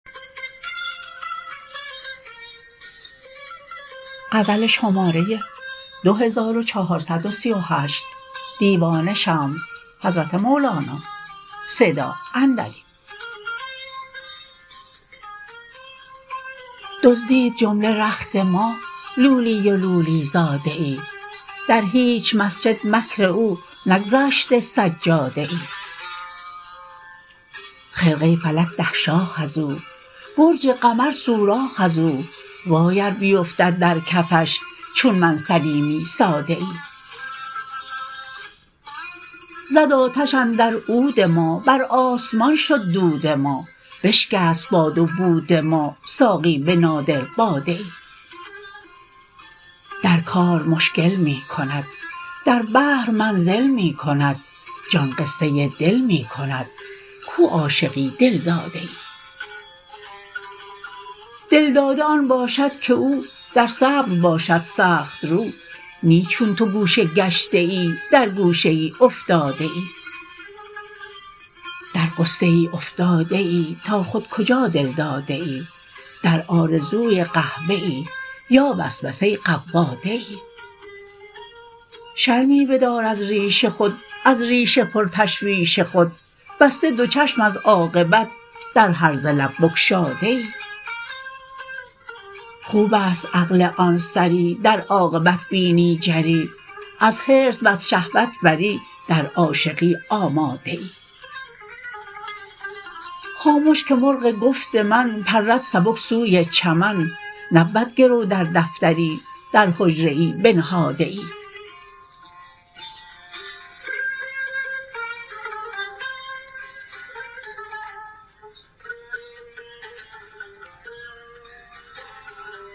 دزدید جمله رخت ما لولی و لولی زاده ای در هیچ مسجد مکر او نگذاشته سجاده ای خرقه فلک ده شاخ از او برج قمر سوراخ از او وای ار بیفتد در کفش چون من سلیمی ساده ای زد آتش اندر عود ما بر آسمان شد دود ما بشکست باد و بود ما ساقی به نادر باده ای در کار مشکل می کند در بحر منزل می کند جان قصه دل می کند کو عاشقی دل داده ای دل داده آن باشد که او در صبر باشد سخت رو نی چون تو گوشه گشته ای در گوشه ای افتاده ای در غصه ای افتاده ای تا خود کجا دل داده ای در آرزوی قحبه یا وسوسه قواده ای شرمی بدار از ریش خود از ریش پرتشویش خود بسته دو چشم از عاقبت در هرزه لب گشاده ای خوب است عقل آن سری در عاقبت بینی جری از حرص وز شهوت بری در عاشقی آماده ای خامش که مرغ گفت من پرد سبک سوی چمن نبود گرو در دفتری در حجره ای بنهاده ای